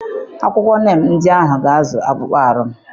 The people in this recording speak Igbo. Akwụkwọ neem ndị ahụ ga-azụ akpụkpọ ahụ m.